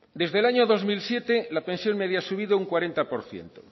desde el año dos mil siete la pensión media ha subido un cuarenta por ciento